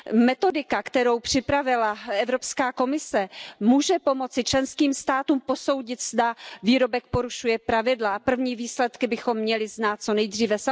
Metodika, kterou připravila Evropská komise, může pomoci členským státům posoudit, zda výrobek porušuje pravidla, a první výsledky bychom měli znát co nejdříve.